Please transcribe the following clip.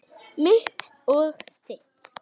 Mitt og þitt.